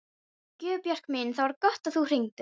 Guðbjörg mín, það var gott að þú hringdir.